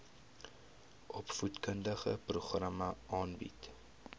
opvoedkundige programme aanbied